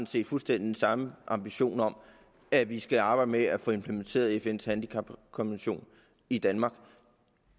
set fuldstændig den samme ambition om at vi skal arbejde med at få implementeret fns handicapkonvention i danmark